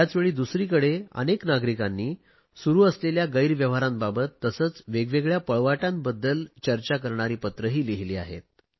त्याचवेळी दुसरीकडे अनेक नागरिकांनी सुरु असलेल्या गैर व्यवहारांबाबत तसेच वेगवेगळया पळवाटांबाबत चर्चा करणारी पत्रेही लिहिली आहेत